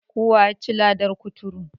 Kowa yaci ladan kuturu.